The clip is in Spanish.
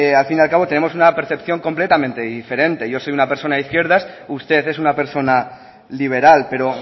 al fin y al cabo tenemos una percepción completamente diferente yo soy una persona de izquierdas usted es una persona liberal pero